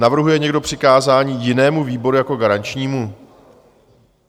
Navrhuje někdo přikázání jinému výboru jako garančnímu?